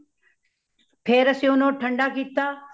ਫੇਰ ਅਸੀ ਓਨੂੰ ਠੰਡਾ ਕੀਤਾ